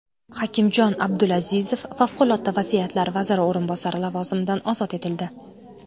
Hakimjon Abdulazizov Favqulodda vaziyatlar vaziri o‘rinbosari lavozimidan ozod etildi.